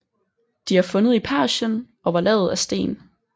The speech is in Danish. De er fundet i Persien og var lavet af sten